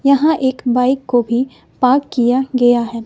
यहां एक बाइक को भी पार्क किया गया है।